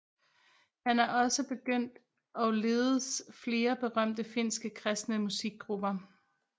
Han er også begyndt og ledes flere berømte finske kristne musikgrupper